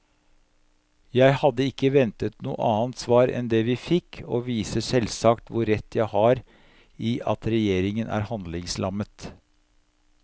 Jeg hadde ikke ventet noe annet svar enn det vi fikk, og viser selvsagt hvor rett jeg har i at regjeringen er handlingslammet.